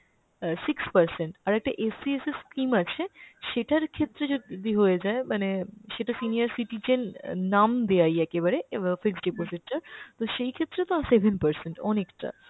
আহ six percent, আরেকটা scheme আছে, সেটার ক্ষেত্রে যদি হয়ে যায় মানে সেটা senior citizen অ্যাঁ নাম দেওয়াই একেবারে এবা fixed deposit এ , তো সেই ক্ষেত্রে তো seven percent, অনেকটা।